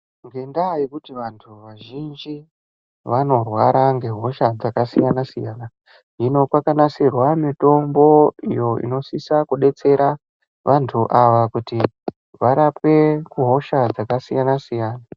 Ngendaa yekuti vanthu vazhinji vanorwara ngehosha dzakasiyana siyana hino kwakanasirwa mitombo iyo inosisa kudetsera vanthu ava kuti varapwe hosha dzakasiyana siyana.